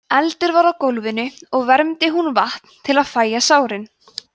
eldur var á gólfinu og vermdi hún vatn til að fægja sárin